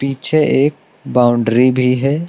पीछे एक बाउंड्री भी है।